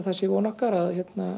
það er von okkar að